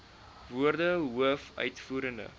woorde hoof uitvoerende